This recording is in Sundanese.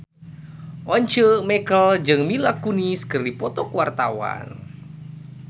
Once Mekel jeung Mila Kunis keur dipoto ku wartawan